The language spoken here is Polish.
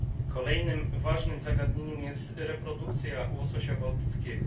Kolejnym ważnym zagadnieniem jest reprodukcja łososia bałtyckiego.